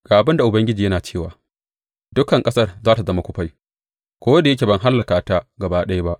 Ga abin da Ubangiji yana cewa, Dukan ƙasar za tă zama kufai, ko da yake ba zan hallaka ta gaba ɗaya ba.